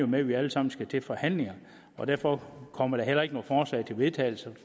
med at vi alle sammen skal til forhandlinger derfor kommer der heller ikke noget forslag til vedtagelse